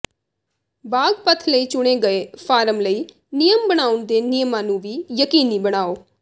ਬਾਗ ਪਥ ਲਈ ਚੁਣੇ ਗਏ ਫਾਰਮ ਲਈ ਨਿਯਮ ਬਣਾਉਣ ਦੇ ਨਿਯਮਾਂ ਨੂੰ ਵੀ ਯਕੀਨੀ ਬਣਾਓ